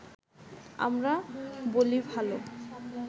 আমরা বলি ভালো